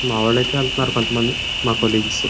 మా వాళ్లైతే వెళ్తున్నారు మా కోలీగ్స్ --